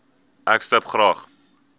ek stip graag